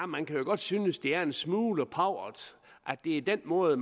man kan jo godt synes det er en smule pauvert at det er den måde